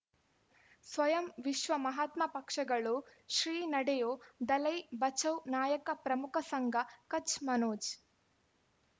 ಸ್ವಯಂ ವಿಶ್ವ ಮಹಾತ್ಮ ಪಕ್ಷಗಳು ಶ್ರೀ ನಡೆಯೂ ದಲೈ ಬಚೌ ನಾಯಕ ಪ್ರಮುಖ ಸಂಘ ಕಚ್ ಮನೋಜ್